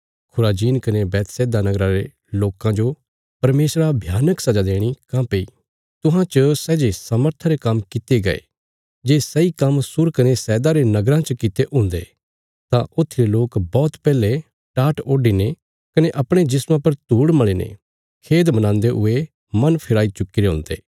खुराजीन कने बैतसैदा नगरा रे लोकां जो परमेशरा भयानक सजा देणी काँह्भई तुहां च सै जे सामर्था रे काम्म कित्ते गये जे सैई काम्म सूर कने सैदा रे नगराँ च कित्तिरे हुन्दे तां उत्थीरे लोक बौहत पैहले टाट ओडीने कने अपणे जिस्मा पर धूड़ मल़ीने खेद मनान्दे हुये मन फिराई चुक्कीरे हुन्दे